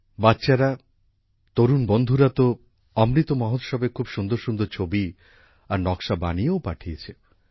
বাচ্চারা তরুণ সাথীরা তো অমৃত মহোৎসবে খুব সুন্দরসুন্দর ছবি আর নকশা বানিয়েও পাঠিয়েছে